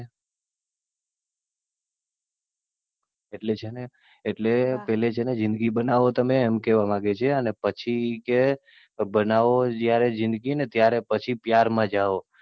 એટલે છે ને એટલે પહેલા છે ને જિંદગી બનાવો તમે એમ કહેવા માંગે છે, અને પછી કે બનાવો જયારે જિંદગી ને ત્યારે પછી પ્યાર મા જાઓ.